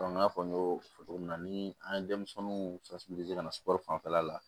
n y'a fɔ n y'o fɔ togo min na ni an ye denmisɛnninw ka na sukɔro fanfɛla la